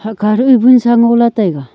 hahkha dud a vonsa ngola taiga.